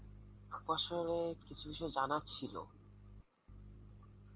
আপনার সনে কিছু কিছু জানার ছিল